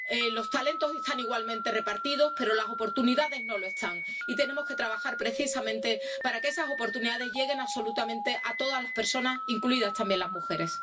Los talentos están igualmente repartidos pero las oportunidades no lo están, y tenemos que trabajar precisamente para que esas oportunidades lleguen absolutamente a todas las personas, incluidas también las mujeres.